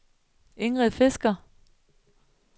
Ingrid Fisker